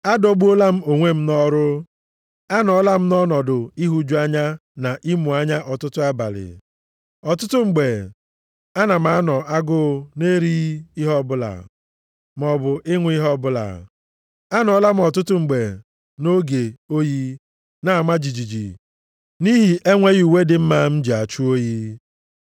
Adọgbuola m onwe m nʼọrụ, anọọla m nʼọnọdụ ịhụju anya na ịmụ anya ọtụtụ abalị. Ọtụtụ mgbe ana m anọ agụụ na-erighị ihe ọbụla, maọbụ ịṅụ ihe ọbụla. Anọọla m ọtụtụ mgbe nʼoge oyi na-ama jijiji nʼihi enweghị uwe dị mma m ji achụ oyi.